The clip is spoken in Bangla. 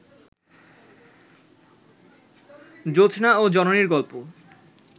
জোছনা ও জননীর গল্প